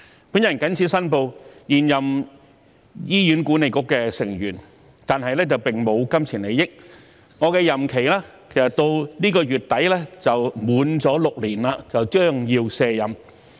本人謹此申報，我是現任醫院管理局的成員，但並沒有金錢利益，我的任期其實至今個月底便滿6年，將要卸任。